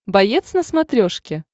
боец на смотрешке